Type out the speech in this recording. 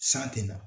San tɛ na